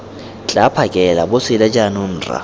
tla phakela bosele jaanong rra